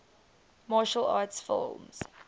martial arts film